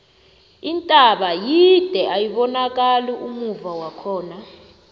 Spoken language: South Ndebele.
intaba yide ayibonakani ummuva wakhona